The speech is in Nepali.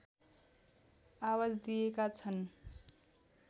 आवाज दिएका छन्